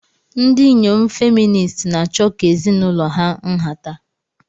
Ndị inyom feministi na-achọ ka ezinụlọ ha nhata.